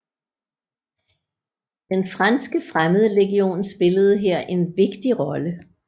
Den franske Fremmedlegion spillede her en vigtig rolle